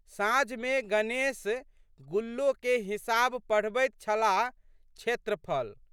साँझमे गणेश गुल्लोके हिसाब पढ़बैत छलाहक्षेत्रफल।